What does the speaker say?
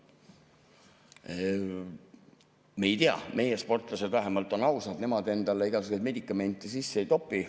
Ma ei tea, meie sportlased on vähemalt ausad, nemad endale igasuguseid medikamente sisse ei topi.